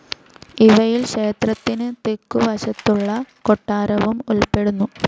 ഇവയിൽ ക്ഷേത്രത്തിന് തെക്കു വശത്തുള്ള കൊട്ടാരവും ഉൾപ്പെടുന്നു.